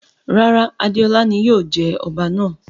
Rara, Adeola ni yóò jẹ ọba náa